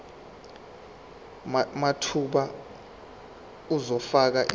mathupha uzofaka isicelo